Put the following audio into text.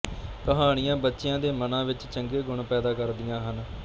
ਕਹਾਣੀਆਂ ਬੱਚਿਆਂ ਦੇ ਮਨਾਂ ਵਿਚ ਚੰਗੇ ਗੁਣ ਪੈਦਾ ਕਰਦੀਆਂ ਸਨ